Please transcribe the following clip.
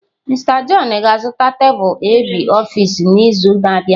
Mister john ga-azụta tebụl ab office n’izu na-abịa.